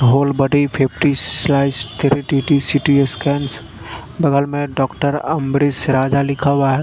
Whole body fifty slice three T T CT scans बगल में doctor Ambarish Raja लिखा हुआ है।